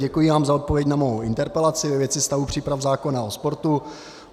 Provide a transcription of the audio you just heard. Děkuji vám za odpověď na mou interpelaci ve věci stavu příprav zákona o sportu.